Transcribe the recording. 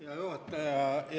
Hea juhataja!